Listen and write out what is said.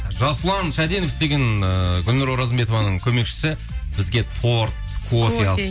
жасұлан шәденов деген ыыы гүлнұр оразымбетованың көмекшісі бізге торт